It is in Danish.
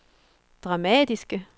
dramatiske